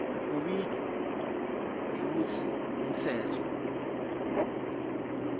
ubitwa ngekutsi ngumtsetfo